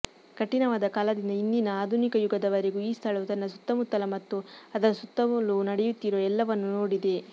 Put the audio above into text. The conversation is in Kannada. ಕಠಿಣವಾದ ಕಾಲದಿಂದ ಇಂದಿನ ಆಧುನಿಕಯುಗದವರೆಗೂ ಈ ಸ್ಥಳವು ತನ್ನ ಸುತ್ತಮುತ್ತಲ ಮತ್ತು ಅದರ ಸುತ್ತಲೂ ನಡೆಯುತ್ತಿರುವ ಎಲ್ಲವನ್ನೂ ನೋಡಿದೆ